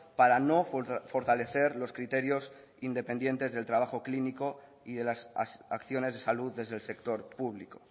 para no fortalecer los criterios independientes del trabajo clínico y de las acciones de salud desde el sector público